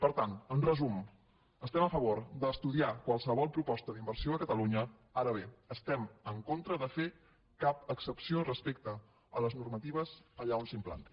per tant en resum estem a favor d’estudiar qualsevol proposta d’inversió a catalunya ara bé estem en contra de fer cap excepció respecte a les normatives allà on s’implantin